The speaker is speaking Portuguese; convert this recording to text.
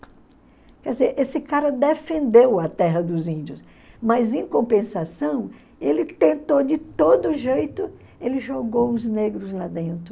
Quer dizer, esse cara defendeu a terra dos índios, mas em compensação ele tentou de todo jeito, ele jogou os negros lá dentro.